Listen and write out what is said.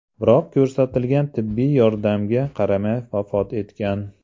Biroq ko‘rsatilgan tibbiy yordamga qaramay vafot etgan.